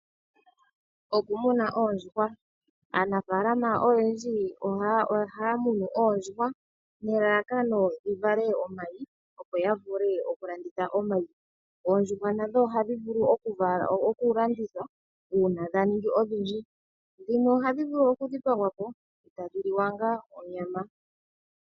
Okumona oondjuhwa, aanafaalama oyendji ohaya munu oondjuhwa nelalakano dhi vale omayi opo ya vule oku landitha omayi. oondjuhwa nadho ohadhi vulu oku landithwa uuna dhaningi odhindji, dhimwe ohadhi vulu okudhipagwapo e tadhi li wa ngaa onyama.